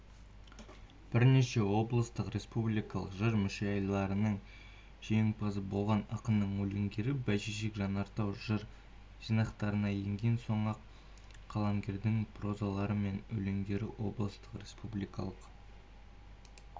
бірнеше облыстық республикалық жыр мүшайраларының жеңімпазы болған ақынның өлеңдері бәйшешек жанартау жыр жинақтарына енген сондай-ақ қаламгердің прозалары мен өлеңдері облыстық республикалық